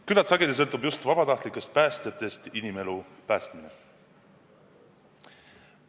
Küllaltki sageli sõltub just vabatahtlikest päästjatest inimelu päästmine.